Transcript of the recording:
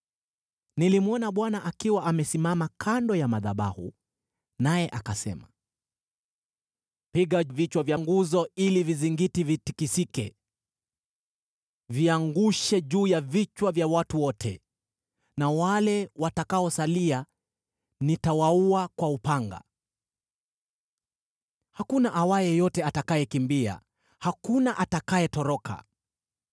Nilimwona Bwana akiwa amesimama kando ya madhabahu, naye akasema: “Piga vichwa vya nguzo ili vizingiti vitikisike. Viangushe juu ya vichwa vya watu wote; na wale watakaosalia nitawaua kwa upanga. Hakuna awaye yote atakayekimbia, hakuna atakayetoroka.